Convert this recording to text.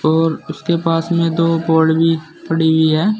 और उसके पास में दो बॉल भी पड़ी हुई है।